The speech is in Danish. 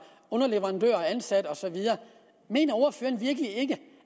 ansat underleverandører og så videre mener ordføreren virkelig ikke